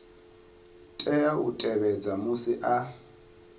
tea u tevhedza musi a